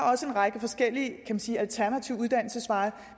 også en række forskellige man kan sige alternative uddannelsesveje